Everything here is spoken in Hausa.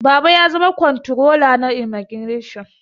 Baba ya zama kwanrola na imagination